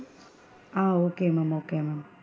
Ah okay ma'am okay ma'am.